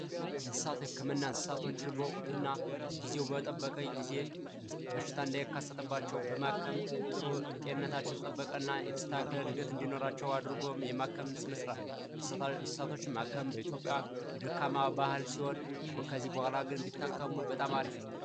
የእንስሳት ህክምና የእንስሳት ህክምና እንስሳቶች በጊዜው እና ወቅቱን በጠበቀ በሽታ እንዳይከሰትባቸው የማከምና የመጠበቅና የተስተካከለ እድገት እንዲኖራቸው አድርጎ የማከም ስነ ስርዓት ነው እንስሳቶችን ማከም በኢትዮጵያ የደካማ ባህል ሲሆን ከዚህ በኋላ ግን ቢታከሙ በጣም አሪፍ ነው።